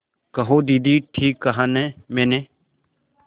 कहो दीदी ठीक कहा न मैंने